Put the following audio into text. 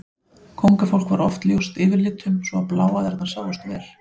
Kóngafólk var oft ljóst yfirlitum svo að bláæðarnar sáust vel.